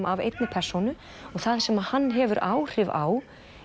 af einni persónu það sem hann hefur áhrif á